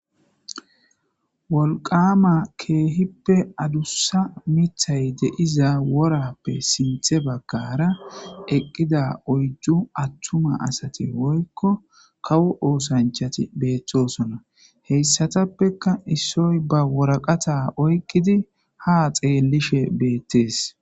Wolqama kehippe adusa mitha de'iza worappe sinthe bagara eqida uydu kawo osachati de'osona hesatuppeka issoy ba waraqata oykidi ha xeleshe betes